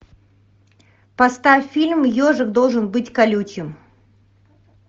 поставь фильм ежик должен быть колючим